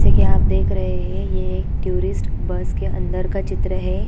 जैसा कि आप देख रहे हैं यह टूरिस्ट बस के अंदर का चित्र है।